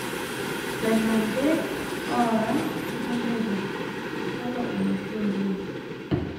Lenante oara oo sentero, kalo eoshi oleng'.